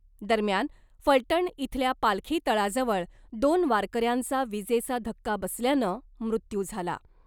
दरम्यान , फलटण इथल्या पालखी तळाजवळ , दोन वारकऱ्यांचा विजेचा धक्का बसल्यानं मृत्यु झाला .